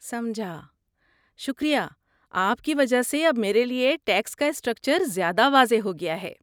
سمجھا، شکریہ آپ کی وجہ سے اب میرے لیے ٹیکس کا اسٹرکچر زیادہ واضح ہو گیا ہے۔